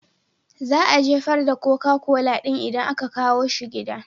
Za a jefar da koka kola ɗin idan aka kawo shi gida.